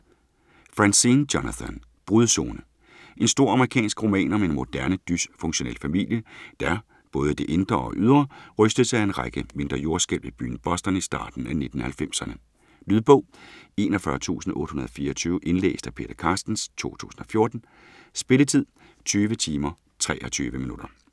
Franzen, Jonathan: Brudzone En stor amerikansk roman om en moderne, dysfunktionel familie, der, både i det indre og ydre, rystes af en række mindre jordskælv i byen Boston i starten af 1990'erne. Lydbog 41824 Indlæst af Peter Carstens, 2014. Spilletid: 20 timer, 23 minutter.